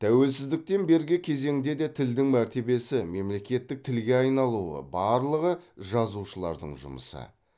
тәуелсіздіктен бергі кезеңде де тілдің мәртебесі мемлекеттік тілге айналуы барлығы жазушылардың жұмысы